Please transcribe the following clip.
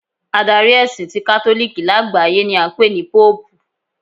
Adari ẹ̀sìn Ìjọ ti katoliki lágbàáyé ni a ń pè ní Póòpù